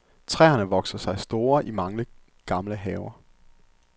Træerne vokser sig store i mange gamle haver.